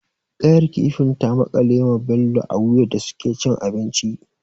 Ƙayar kifin ta makale ma Bello a wuya da suke cin abinci.